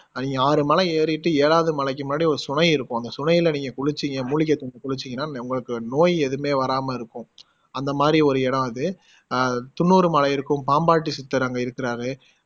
அங்க ஆறு மலை ஏறிட்டு ஏழாவது மலைக்கு முன்னாடி ஒரு சுனை இருக்கும் அந்த சுனைல நீங்க குளிச்சிங்க மூலிகை தண்ணில குளிச்சிங்கன்னா உங்களுக்கு நோய் எதுவுமே வராம இருக்கும் அந்த மாதிரி ஒரு இடம் அது அஹ் துன்னூர் மலை இருக்கும் பாம்பாட்டி சித்தர் அங்க இருக்குறாரு